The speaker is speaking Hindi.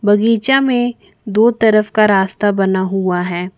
बगीचा में दो तरफ का रास्ता बना हुआ है।